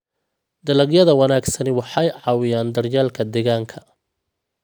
Dalagyada wanaagsani waxay caawiyaan daryeelka deegaanka.